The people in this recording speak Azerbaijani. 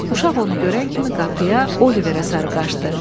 Uşaq onu görən kimi qapıya, Oliverə sarı qaçdı.